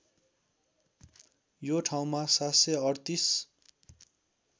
यो ठाउँमा ७३८